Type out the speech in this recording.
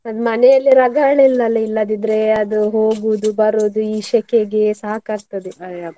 ಅದು ಮನೇಲಿ ರಗಳೆ ಇಲ್ಲಲ್ಲ ಇಲ್ಲದಿದ್ರೆ ಅದು ಹೋಗುದು, ಬರುದು, ಈ ಸೆಕೆಗೆ ಸಾಕಾಗ್ತದೆ.